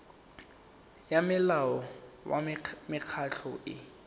ya molao wa mekgatlho e